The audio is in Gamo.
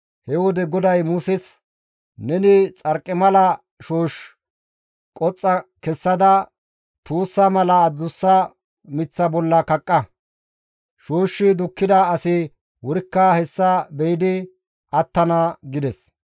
He wode GODAY Muses, «Neni xarqimala shoosh qoxxa kessada tuussa mala adussa miththa bolla kaqqa; shooshshi dukkida asi wurikka hessa be7idi attana» gides.